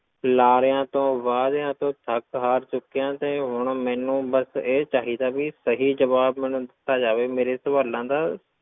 ਲਾਰਿਆਂ ਤੋਂ ਵਾਅਦਿਆਂ ਤੋਂ ਥੱਕ ਹਾਰ ਚੁੱਕਿਆਂ ਤੇ ਹੁਣ ਮੈਨੂੰ ਬਸ ਇਹ ਚਾਹੀਦਾ ਵੀ ਸਹੀ ਜਵਾਬ ਮੈਨੂੰ ਦਿੱਤਾ ਜਾਵੇ ਮੇਰੇ ਸਵਾਲਾਂ ਦਾ,